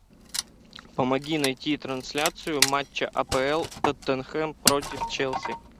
помоги найти трансляцию матча апл тоттенхэм против челси